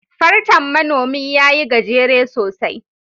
Fartan Manomi ya yi gajere sosai